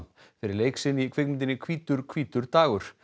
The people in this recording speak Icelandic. fyrir leik sinn í kvikmyndinni hvítur hvítur dagur